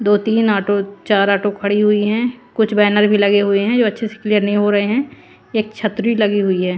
दो तीन ऑटो चार ऑटो खड़ी हुई है। कुछ बैनर भी लगे हुए है जो अच्छे से क्लियर नहीं हो रहे है। एक छतरी लगी हुई है।